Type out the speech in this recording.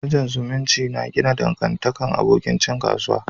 Managan zumunci ya na gina dangantakan abokin cin kasuwa.